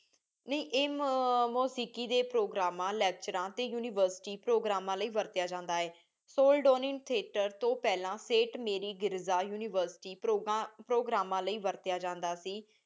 ਨਹੀ ਇਹ ਆ ਮੋਸਿਕ਼ੀ ਡੀ ਪ੍ਰੋਗ੍ਰਾਮ ਟੀ ਲੇਕ੍ਤੁਰਾਂ ਟੀ ਉਨਿਵੇਰ੍ਸਿਟੀ ਪ੍ਰੋਗ੍ਰਾਮ੍ਮਾਂ ਲੈ ਵਾਰ੍ਤ੍ਯਾਂ ਜਾਂਦਾ ਹੈ ਸੋਲ੍ਦੋਨੀ ਠੇਆਟਰ ਤੋ ਪੇਹ੍ਲਾਂ ਸੈਂਟ ਮਾਰ੍ਰੀ ਗਿਰਜਾ ਉਨਿਵੇਰ੍ਸਿਟੀ ਪ੍ਰੋਗਰਾਮਾ ਲੈ ਵਾਰ੍ਤ੍ਯਾ ਜਾਂਦਾ ਸੀ